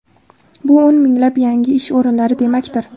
Bu o‘n minglab yangi ish o‘rinlari demakdir.